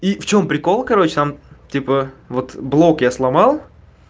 и в чём прикол короче там типа вот блок я сломал